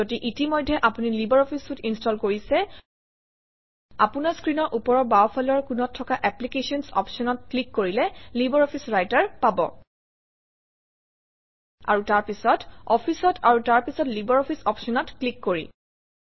যদি ইতিমধ্যে আপুনি লাইব্ৰঅফিছ চুইতে ইনষ্টল কৰিছে আপোনাৰ স্ক্ৰীনৰ ওপৰৰ বাওঁফালৰ কোণত থকা এপ্লিকেশ্যনছ অপশ্যনত ক্লিক কৰিলে লাইব্ৰঅফিছ ৰাইটাৰ পাব আৰু তাৰপিছত Office অত আৰু তাৰ পিছত লাইব্ৰঅফিছ অপশ্যনত ক্লিক কৰি